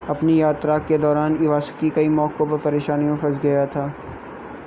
अपनी यात्रा के दौरान इवासाकी कई मौकों पर परेशानियों में फंस गया था